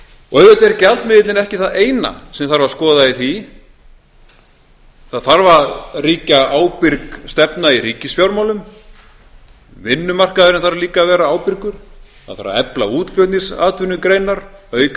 og auðvitað er gjaldmiðillinn ekki það eina sem þarf að skoða í því það þarf að ríkja ábyrg stefna í ríkisfjármálum vinnumarkaðurinn þarf líka að vera ábyrgur það þarf að efla útflutningsatvinnugreinar auka